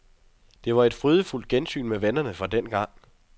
Det var et frydefyldt gensyn med vennerne fra dengang.